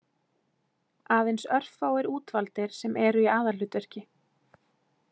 Aðeins örfáir útvaldir sem eru í aðalhlutverki.